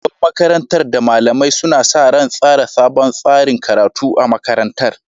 Shugaban makarantar da malamai suna sa ran tsara sabon tsarin karatu a makarantar